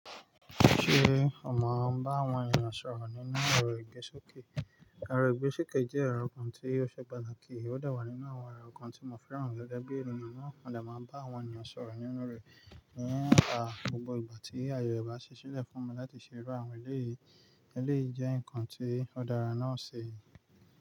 Ṣé o mọ bá àwọn ènìyàn sọ̀rọ̀ nínú ẹ̀rọ ìgbésókè? Ẹ̀rọ ìgbésókè jẹ́ ẹ̀rọ kan tí ó ṣe pàtàkì, ó dà wá nínú àwọn ẹ̀rọ kan tí mo fẹ́ran gege bíi eniyan na. Mọ́ de máa ń bá àwọn ènìyàn sọ̀rọ̀ nínú rẹ̀. Eyẹn a, gbogbo ìgbà tí ayere ba ṣe ṣí lẹ̀ fún mi láti ṣè iru àwọn eléyìí, eléyìí jẹ́ ǹkan tí ó dára náà ṣe.